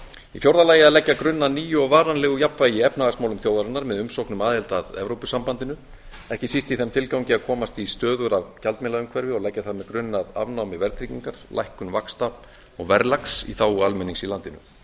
í fjórða lagi að leggja grunn að nýju og varanlegu jafnvægi í efnahagsmálum þjóðarinnar með umsókn um aðild að evrópusambandinu ekki síst í þeim tilgangi að komast í stöðugra gjaldmiðlaumhverfi og leggja þar með grunn að afnámi verðtryggingar lækkun vaxta og verðlags í þágu almennings í landinu